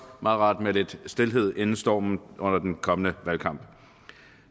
meget rart med lidt stilhed inden stormen under den kommende valgkamp